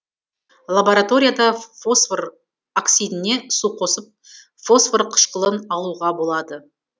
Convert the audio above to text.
лабораторияда фосфор оксидіне су қосып фосфор кышкылын алуға болады